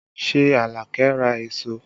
Ṣé Alake ra èso?